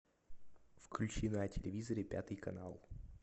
включи на телевизоре пятый канал